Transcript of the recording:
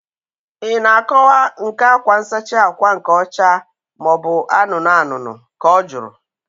Ị na akọwa nke akwa nsachi ákwà nke ọcha maobu anụnụ anụnụ? Ka ọ jụrụ